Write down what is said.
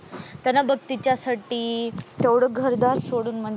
त्यांना बघ तिच्यासाठी तेवढं घर दार सोडून,